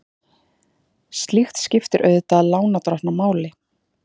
Slíkt skiptir auðvitað lánardrottna máli.